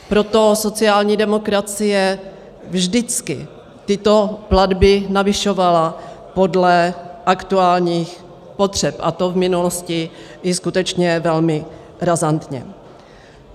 Proto sociální demokracie vždycky tyto platby navyšovala podle aktuálních potřeb, a to v minulosti i skutečně velmi razantně.